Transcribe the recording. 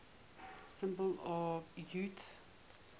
symbols of utah